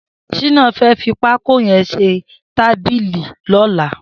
Shina fẹ̀ fi pàkó yèn ṣé tàbìlí lọ̀lá